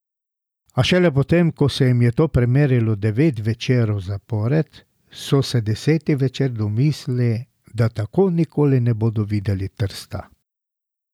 A šele potem, ko se jim je to primerilo devet večerov zapored, so se deseti večer domislili, da tako nikoli ne bodo videli Trsta.